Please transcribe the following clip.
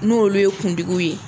N'o olu ye kuntigiw ye